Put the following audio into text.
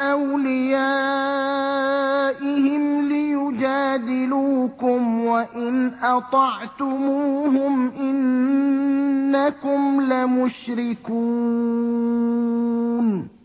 أَوْلِيَائِهِمْ لِيُجَادِلُوكُمْ ۖ وَإِنْ أَطَعْتُمُوهُمْ إِنَّكُمْ لَمُشْرِكُونَ